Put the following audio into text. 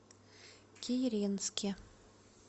киренске